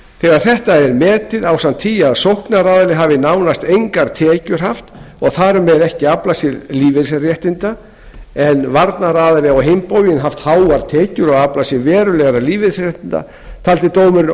þegar þetta var metið ásamt því að sóknaraðili hafði nánast engar tekjur haft og þar með ekki aflað sér lífeyrisréttinda en varnaraðili á hinn bóginn haft háar tekjur og aflað sér verulegra lífeyrisréttinda taldi dómurinn